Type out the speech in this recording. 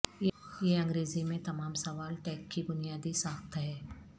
یہ انگریزی میں تمام سوال ٹیگ کی بنیادی ساخت ہے